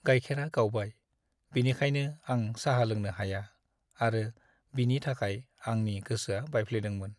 गाइखेरा गावबाय, बेनिखायनो आं साहा लोंनो हाया आरो बिनि थाखाय आंनि गोसोआ बायफ्लेदोंमोन।